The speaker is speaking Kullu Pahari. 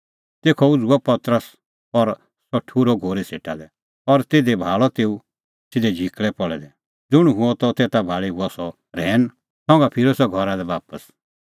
तेखअ उझ़ुअ पतरस और सह ठुर्हअ घोरी सेटा लै और तिधी भाल़ै तेऊ सिधै झिकल़ै पल़ै दै ज़ुंण हुअ त तेता भाल़ी हुअ सह रहैन संघा फिरअ सह घरा लै बापस